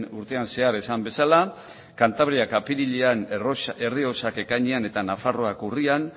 urtean zehar esan bezala cantabriak apirilean errioxak ekainean eta nafarroak urrian